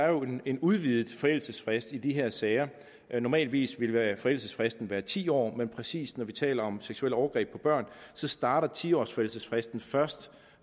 jo en udvidet forældelsesfrist i de her sager normalvis ville forældelsesfristen være ti år men præcis når vi taler om seksuelle overgreb på børn starter ti års forældelsesfristen først